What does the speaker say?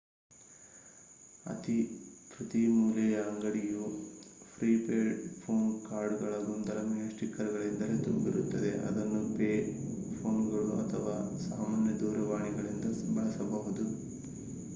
ಪ್ರತಿ ಮೂಲೆಯ ಅಂಗಡಿಯು ಪ್ರೀ-ಪೇಯ್ಡ್ ಫೋನ್ ಕಾರ್ಡ್‌ಗಳ ಗೊಂದಲಮಯ ಸ್ಟಿಕ್ಕರ್‌ಗಳಿಂದಲೇ ತುಂಬಿರುತ್ತವೆ ಅದನ್ನು ಪೇ ಫೋನ್‌ಗಳು ಅಥವಾ ಸಾಮಾನ್ಯ ದೂರವಾಣಿಗಳಿಂದ ಬಳಸಬಹುದು